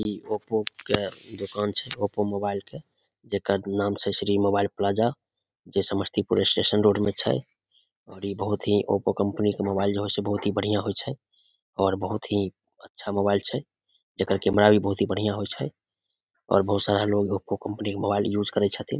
इ ओप्पो के दोकान छै ओप्पो मोबाइल के जेकर नाम छै श्री मोबाइल प्लाजा जे समस्तीपुर स्टेशन रोड में छै और इ बहुत ही ओप्पो कंपनी के मोबाइल जे होय छै बहुत ही बढ़िया होय छै और बहुत ही अच्छा मोबाइल छै जेकर कैमरा भी बहुत बढ़िया होय छै और बहुत सारा लोग ओप्पो कंपनी के मोबाइल यूज़ करे छथिन ।